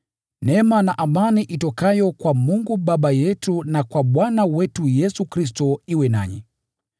Neema na amani itokayo kwa Mungu Baba yetu na kwa Bwana wetu Yesu Kristo iwe nanyi.